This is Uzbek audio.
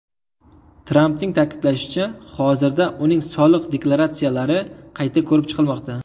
Trampning ta’kidlashicha, hozirda uning soliq deklaratsiyalari qayta ko‘rib chiqilmoqda.